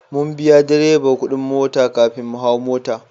Mun biya wa direba kudin mota kafin mu hau mota.